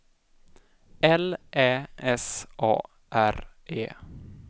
L Ä S A R E